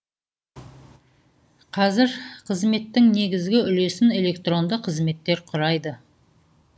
қазір қызметтің негізгі үлесін электронды қызметтер құрайды